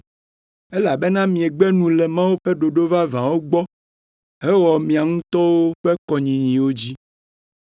Elabena miegbe nu le Mawu ƒe ɖoɖo vavãwo gbɔ hewɔa mia ŋutɔwo ƒe kɔnyinyiwo dzi.